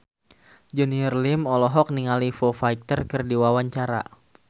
Junior Liem olohok ningali Foo Fighter keur diwawancara